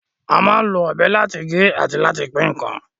A máa ń lo ọ̀bẹ láti gé àti láti pín ǹkan